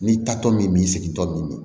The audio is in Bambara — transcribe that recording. Ni taatɔ min b'i segin tɔ min